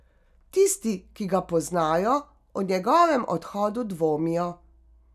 Tisti, ki ga poznajo, o njegovem odhodu dvomijo.